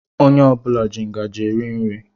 Ònye ọbula jị ngaji eri nri.